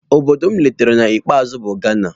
Obodo m letara na nke ikpeazụ bụ Ghana.